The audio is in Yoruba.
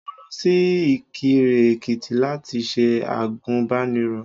Mo lọ sí Ìkẹ́rẹ́ Èkìtì láti ṣe àgùnbánirọ̀.